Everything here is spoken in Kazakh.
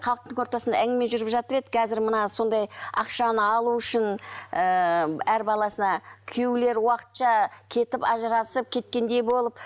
халықтың ортасында әңгіме жүріп жатыр еді қазір мына сондай ақшаны алу үшін ііі әр баласына күйеулері уақытша кетіп ажырасып кеткендей болып